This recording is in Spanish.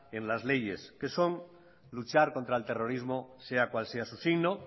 en las leyes que son luchar contra el terrorismo sea cual sea su signo